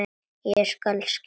Ég skal skila því.